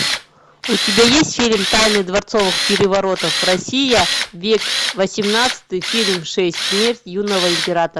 у тебя есть фильм тайны дворцовых переворотов россия век восемнадцатый фильм шесть смерть юного императора